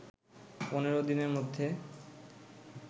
পনেরো দিনের মধ্যে